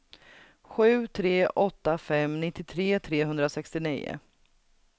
sju tre åtta fem nittiotre trehundrasextionio